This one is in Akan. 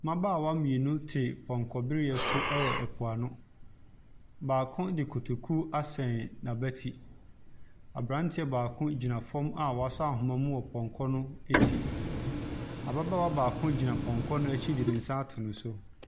Mmabaawa mmienu te pɔnkɔ bereɛ so wɔ mpoano. Baako de kotoku asɛn n'abati. Abranteɛ baako gyina fam a wɔasɔ ahomaa mu wɔ pɔnkɔ no akyi. Ababaawa baako gyina pɔnkɔ no akyi de ne nsa ato ne so.